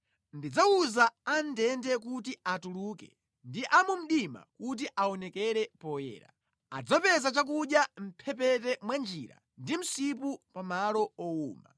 Ndidzawuza a mʼndende kuti atuluke ndi a mu mdima kuti aonekere poyera. “Adzapeza chakudya mʼmphepete mwa njira ndi msipu pa mʼmalo owuma.